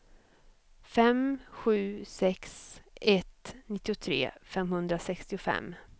fem sju sex ett nittiotre femhundrasextiofem